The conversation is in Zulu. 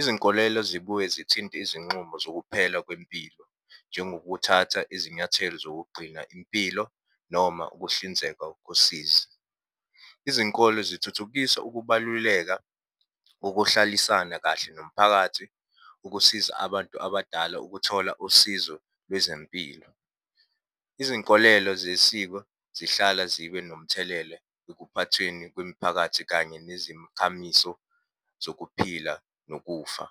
Izinkolelo zibuye zithinte izinxumo zokuphela kwempilo, njengokuthatha izinyathelo zokugcina impilo noma ukuhlinzeka kosizi. Izinkolo zithuthukisa ukubaluleka kokuhlalisana kahle nomphakathi ukusiza abantu abadala ukuthola usizo lwezempilo. Izinkolelo zesiko zihlala zibe nomthelele ekuphathweni kwemiphakathi, kanye nezimkhamiso zokuphila nokufa.